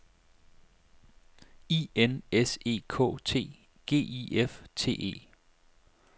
I N S E K T G I F T E